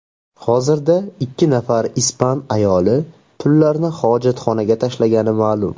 Hozirda ikki nafar ispan ayoli pullarni hojatxonaga tashlagani ma’lum.